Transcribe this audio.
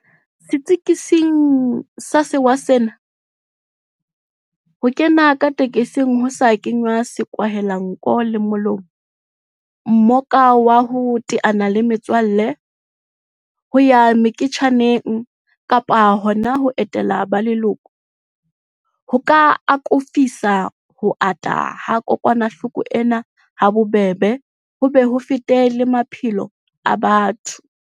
Setsiketsing sa sewa sena, ho kena ka tekesing ho sa kenngwa sekwahelanko le molomo, mmoka wa ho teana le metswalle, ho ya meketjaneng kapa hona ho etela ba leloko, ho ka akofisa ho ata ha kokwanahloko ena habobebe ho be ho fete le maphelo a batho.